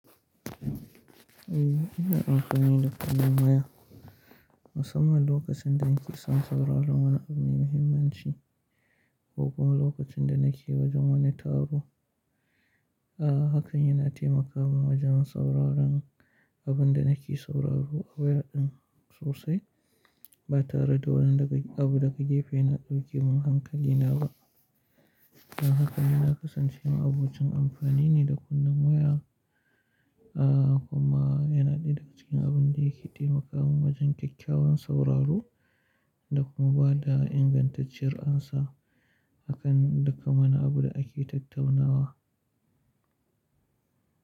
Eh, ina amfani da karmin waya musamman lokacin da nake son sauraron wani abu mai muhimmanci ko kuma lokacin da nake wajen wani taro. A'a, hakan yana taimaka min wajen sauraron abin da nake sauraro a wayar ɗin sosai ba tare da wani daga abu daga jefa yana ɗauke min hankalina ba. Don haka nina kasancewa abokin amfani ne da karmin waya. A'a, kuma yana ɗaya daga cikin abin da yake taimaka min wajen kyakkyawan sauraro da kuma ba da ingantacciyar amsa akan dukka wani abu da ake tattaunawa.